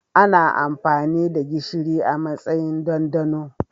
Ana amfani da gishiri a matsayin dandano.